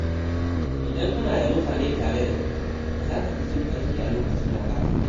Idan kana da mutane tare da kai, za ka fi jin ƙarfi a lokacin wahala.